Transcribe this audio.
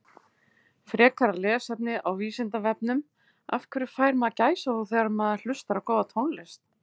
Frekara lesefni á Vísindavefnum Af hverju fær maður gæsahúð þegar maður hlustar á góða tónlist?